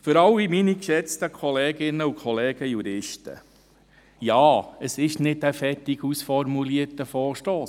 Für alle meine geschätzten Kolleginnen und Kollegen Juristen: Ja, der Punkt 3 ist kein fertig ausformulierter Vorstoss.